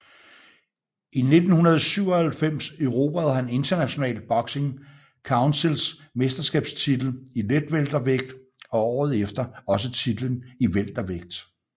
I 1997 erobrede han International Boxing Councils mesterskabstitel i letweltervægt og året efter også titlen i weltervægt